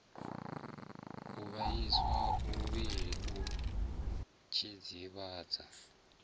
u vhaisa muvhili u dzidzivhadza